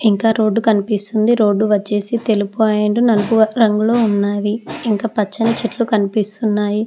ఇంకా రోడ్డు కనిపిస్తుంది రోడ్డు వచ్చేసి తెలుపు అండ్ నలుపు రంగులో ఉన్నాది ఇంకా పచ్చని చెట్లు కనిపిస్తున్నాయి.